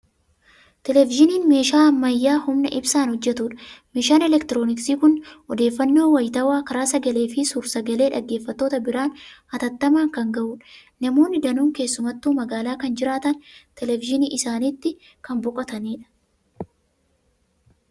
Televizyiniin meeshaa ammayyaa humna ibsaan hojjetudha. Meeshaan elektirooniksii kun odeeffannoo wayitaawwaa karaa sagalee fi suur-sagalee dhaggeeffattoota biraan hatattamaan kan gahudha. Namoonni danuun keessumattuu magaalaa kan jiraatan televithinii isaaniitti kan boqotanidha.